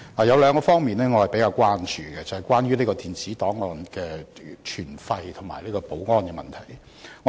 有兩方面我較為關注，便是電子檔案的存廢和保安的問題。